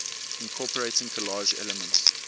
incorporating collage elements